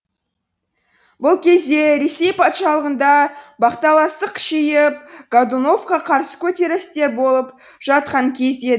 бұл кезде ресей патшалығында бақталастық күшейіп годуновқа қарсы көтерілістер болып жатқан кез еді